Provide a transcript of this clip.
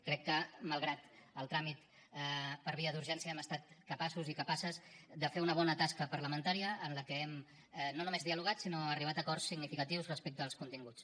crec que malgrat el tràmit per via d’urgència hem estat capaços i capaces de fer una bona tasca parlamentària en la que hem no només dialogat sinó arribat a acords significatius respecte als continguts